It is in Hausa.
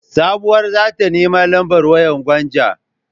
Sabuwa za ta nemo lambar wayar Gwanja.